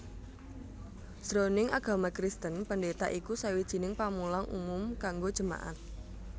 Jroning agama Kristen pendeta iku sawijining pamulang umum kanggo jemaat